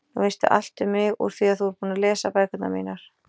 Nú veistu allt um mig úr því þú ert búin að lesa bækurnar mínar.